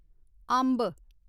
अम्ब